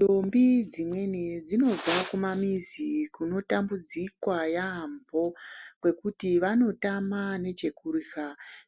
Dombi dzimweni dzinobva kumamizi kunotambudzikwa yaamho, kwekuti vanotama nechekurusva